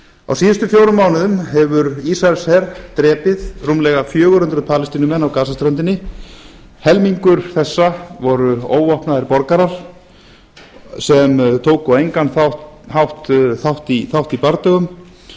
á síðustu fjórum mánuðum hefur ísraelsher drepið rúmlega fjögur hundruð palestínumenn á gasaströndinni helmingur þessa voru óvopnaðir borgarar sem tóku á engan hátt þátt í bardögum